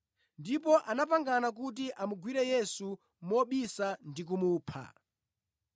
ndipo anapangana kuti amugwire Yesu mobisa ndi kumupha.